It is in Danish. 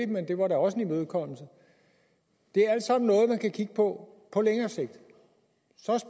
men det var da også en imødekommelse det er alt sammen noget man kan kigge på på længere sigt